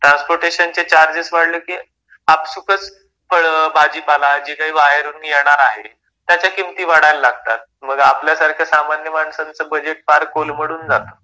ट्रान्सपोर्टेशनचे charges वाढले कि आपसूकच फळं, भाजीपाला जे काही बाहेरून येणार आहे, त्याच्या किमती वाढायला लागतात. मग आपल्या सारख्या सामान्य माणसांचं बजेट पार कोलमडून जातं.